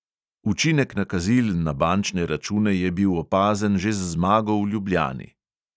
Učinek nakazil na bančne račune je bil opazen že z zmago v ljubljani.